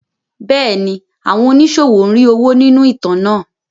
Bẹ́ẹ̀ni, àwọn oníṣòwò ń rí owó nínú ìtàn náà.